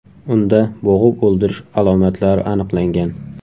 Unda bo‘g‘ib o‘ldirish alomatlari aniqlangan.